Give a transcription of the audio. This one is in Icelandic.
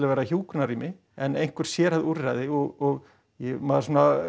vera hjúkrunarrými en einhver sérhæfð úrræði og maður